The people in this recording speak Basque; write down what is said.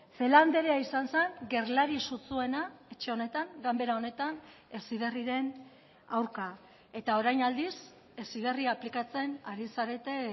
celaá andrea izan zen gerlari sutsuena etxe honetan ganbera honetan heziberriren aurka eta orain aldiz heziberri aplikatzen ari zarete